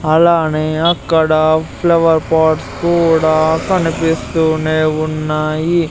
అలానే అక్కడ flower pots కూడా కనిపిస్తూనే ఉన్నాయి.